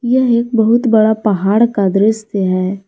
यह एक बहुत बड़ा पहाड़ का दृश्य है।